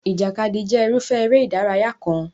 Ìjàkadì jẹ́ irúfẹ́ eré ìdárayá kan.